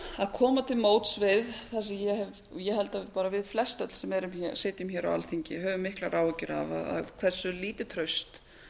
koma til móts við það sem ég held að bara við flestöll sem erum hér sitjum hér á alþingi höfum miklar áhyggjur af hversu lítið traust